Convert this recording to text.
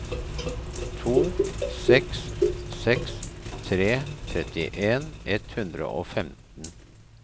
to seks seks tre trettien ett hundre og femten